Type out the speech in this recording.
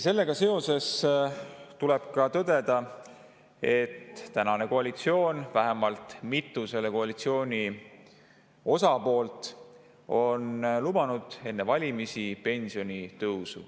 Sellega seoses tuleb tõdeda, et tänane koalitsioon, vähemalt mitu selle koalitsiooni osapoolt, lubasid enne valimisi pensionitõusu.